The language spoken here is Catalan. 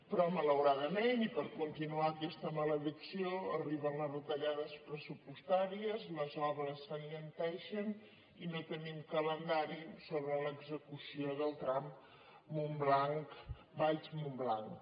però malauradament i per continuar aquesta maledic·ció arriben les retallades pressupostàries les obres s’alenteixen i no tenim calendari sobre l’execució del tram valls·montblanc